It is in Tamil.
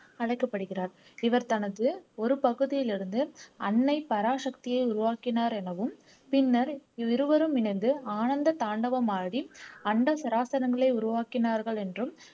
அழைக்கப்படுகிறார் இவர் தனது ஒரு பகுதியிலிருந்து அன்னை பராசக்தியை உருவாக்கினார் எனவும் பின்னர் இவ்விருவரும் இணைந்து ஆனந்த தாண்டவம் ஆடி அண்ட சராசரங்களை உருவாக்கினார்கள் என்றும்